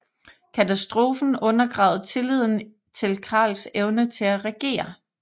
Katastrofen undergravede tilliden til Karls evne til at regere